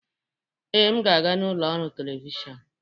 Ee, m ga-aga n'ụlọ ọrụ telivishọn.